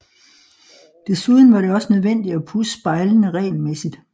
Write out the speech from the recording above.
Desuden var det også nødvendigt at pudse spejlene regelmæssigt